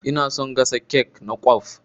Ina son gasa kek na kwaf.